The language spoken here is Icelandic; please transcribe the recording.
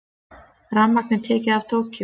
Rafmagn tekið af Tókýó